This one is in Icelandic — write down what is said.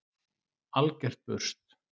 Algert burst!